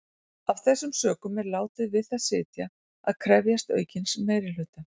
Af þessum sökum er látið við það sitja að krefjast aukins meirihluta.